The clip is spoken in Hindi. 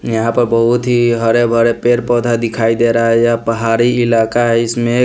यहाँ पर बहुत ही हरे भरे पेर पौधा दिखाई दे रहा है यह पहारी इलाका है इसमें --